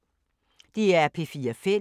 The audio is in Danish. DR P4 Fælles